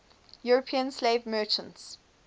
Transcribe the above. european slave merchants